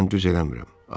Mən düz eləmirəm.